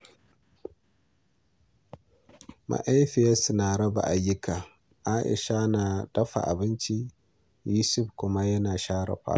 Mahaifinsu ya raba ayyuka, Aisha na dafa abinci, Yusuf kuma na share falo.